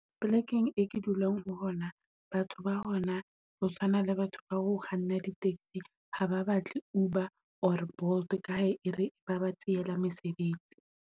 Polekeng e ke dulang ho hona, batho ba hona ho tshwana le batho ba ho kganna di-taxi. Haba batle Uber or Bolt kae e re ba ba tsehela mesebetsi.